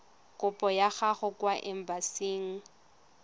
kopo ya gago kwa embasing